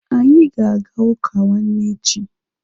Anyị ga-aga ụka nwanne echi.